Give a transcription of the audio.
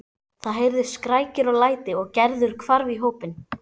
Það heyrðust skrækir og læti og Gerður hvarf í hópinn.